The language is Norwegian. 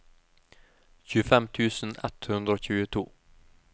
tjuefem tusen ett hundre og tjueto